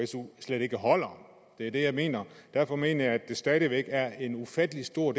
su slet ikke holder det er det jeg mener og derfor mener jeg at der stadig væk er en ufattelig stor